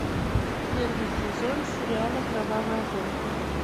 первый сезон сериала кровавая гонка